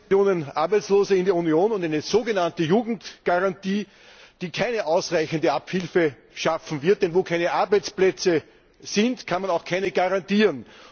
Herr Präsident! Arbeitslose in der Union und eine sogenannte Jugendgarantie, die keine ausreichende Abhilfe schaffen wird, denn wo keine Arbeitsplätze sind, kann man auch keine garantieren.